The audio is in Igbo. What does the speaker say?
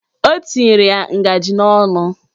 O tinyere ya ngajị n'ọnụ